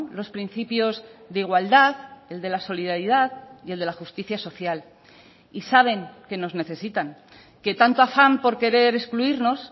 los principios de igualdad el de la solidaridad y el de la justicia social y saben que nos necesitan que tanto afán por querer excluirnos